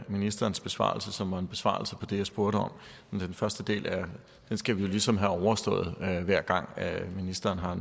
af ministerens besvarelse som var en besvarelse af det jeg spurgte om den første del skal vi jo ligesom have overstået hver gang ministeren har